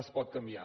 es pot canviar